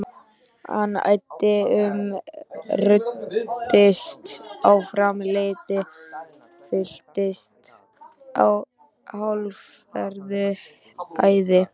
Hann æddi um, ruddist áfram, leitaði, fylltist hálfgerðu æði.